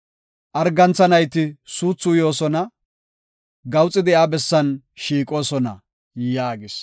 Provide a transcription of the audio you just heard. Argantha nayti suuthi uyoosona; gawuxi de7iya bessan shiiqoosona” yaagis.